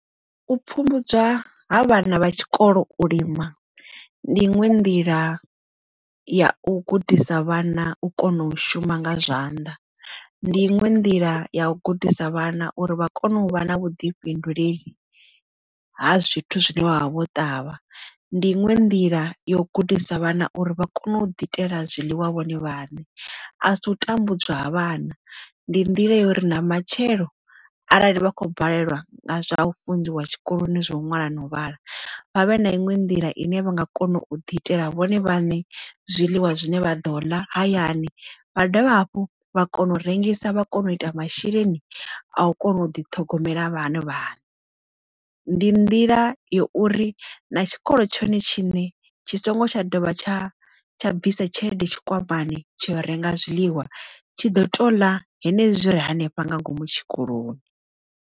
U pfhumbudzwa ha vhana vha tshikolo u lima ndi inwe nḓila ya u gudisa vhana u kona u shuma nga zwanḓa, ndi inwe nḓila ya u gudisa vhana uri vha kone u vha na vhuḓifhinduleli ha zwithu zwine wavha vho ṱavha, ndi inwe nḓila yo gudisa vhana uri vha kone u ḓiitela zwiḽiwa vhone vhaṋe a si u tambudzwa ha vhana ndi nḓila yori na matshelo arali vha khou balelwa nga zwa u funziwa tshikoloni zwo ṅwala na u vhala vhavhe na iṅwe nḓila ine vha nga kona u ḓi itela vhone vhaṋe zwiḽiwa zwine vha ḓo la hayani vha dovha hafhu vha kona u rengisa vha kona u ita masheleni a u kona u ḓi ṱhogomela vhana vhane. Ndi nḓila ya uri na tshikolo tshone tshiṋe tshi songo tsha dovha tsha tsha bvisa tshelede tshikwamani tsho renga zwiḽiwa tshi ḓo ṱola henezwi zwire hanefha nga ngomu tshikoloni.